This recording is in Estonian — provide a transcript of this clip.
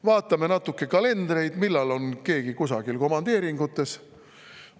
Vaatame natuke kalendreid, seda, millal on keegi kusagil komandeeringus.